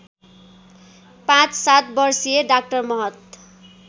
५७ वर्षीय डा महत